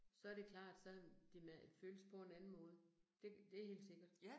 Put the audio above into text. Så det klart sådan, det med at føles på en anden måde. Det det helt sikkert